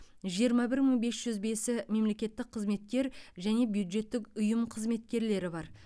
жиырма бір мың бес жүз бесі мемлекеттік қызметкер және бюджеттік ұйым қызметкерлері бар